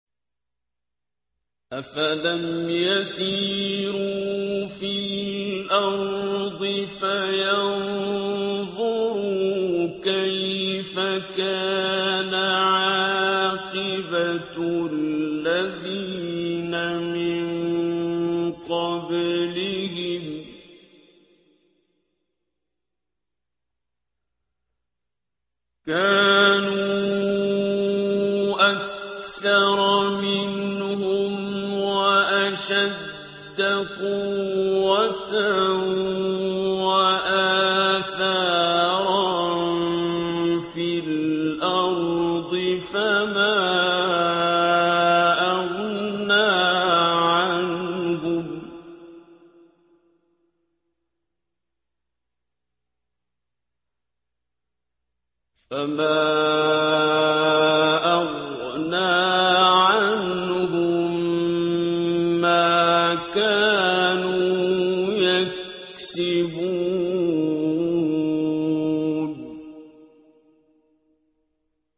أَفَلَمْ يَسِيرُوا فِي الْأَرْضِ فَيَنظُرُوا كَيْفَ كَانَ عَاقِبَةُ الَّذِينَ مِن قَبْلِهِمْ ۚ كَانُوا أَكْثَرَ مِنْهُمْ وَأَشَدَّ قُوَّةً وَآثَارًا فِي الْأَرْضِ فَمَا أَغْنَىٰ عَنْهُم مَّا كَانُوا يَكْسِبُونَ